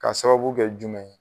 Ka sababu kɛ jumɛn ye?